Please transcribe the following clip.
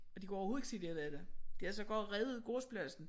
Og de kunne overhovedet ikke se de havde været der. De havde sågar revet gårdspladsen